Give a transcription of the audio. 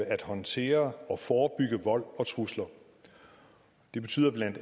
at håndtere og forebygge vold og trusler det betyder bla